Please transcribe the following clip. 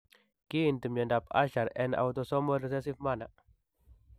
Kiinti myondap Usher en autosomal recessive manner.